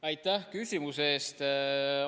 Aitäh küsimuse eest!